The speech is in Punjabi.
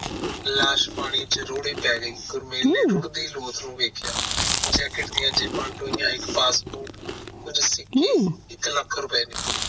ਲਾਸ ਪਾਣੀ ਚ ਰੋੜੀ ਪਾਏ ਗਯੀ ਗੁਰਮਿਲ ਰੁੜਦੀ ਲਾਸ ਨੂੰ ਵੇਖਿਆ jacket ਦੀਆ ਜੇਬ੍ਹਾ ਟੋਹਿਆ ਇਕ passport ਕੁਝ ਸਿੱਕੇ ਤੇ ਇਕ ਲੱਖ ਰੁਪਏ ਨਿਕਲੇ